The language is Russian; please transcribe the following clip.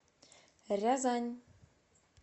рязань